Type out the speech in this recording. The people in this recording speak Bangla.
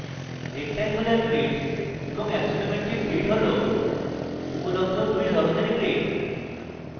rectangular grid এবং axonometric grid হল উপলব্ধ দুই ধরনের grid